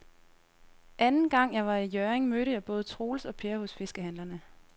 Anden gang jeg var i Hjørring, mødte jeg både Troels og Per hos fiskehandlerne.